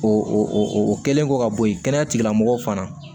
O o o kɛlen kɔ ka bɔ yen kɛnɛya tigilamɔgɔw fana